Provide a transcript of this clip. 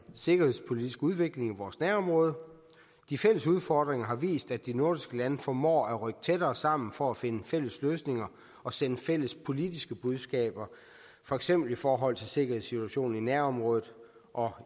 sikkerhedspolitiske udvikling i vores nærområde de fælles udfordringer har vist at de nordiske lande formår at rykke tættere sammen for at finde fælles løsninger og sende fælles politiske budskaber for eksempel i forhold til sikkerhedssituationen i nærområdet og